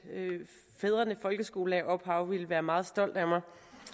fædrene folkeskolelærerophav ville være meget stolt af mig